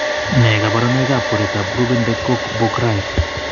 Nee kabarunoikab koroitoab Grubben de Cock Borghgraef ?